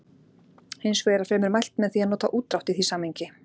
Hins vegar er fremur mælt með því að nota útdrátt í því samhengi.